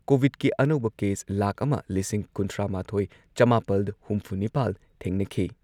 ꯀꯣꯚꯤꯗꯀꯤ ꯑꯅꯧꯕ ꯀꯦꯁ ꯂꯥꯈ ꯑꯃ ꯂꯤꯁꯤꯡ ꯀꯨꯟꯊ꯭ꯔꯥꯃꯥꯊꯣꯏ ꯆꯃꯥꯄꯜ ꯍꯨꯝꯐꯨꯅꯤꯄꯥꯜ ꯊꯦꯡꯅꯈꯤ꯫